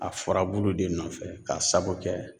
A furabulu de nɔfɛ k'a sabu kɛ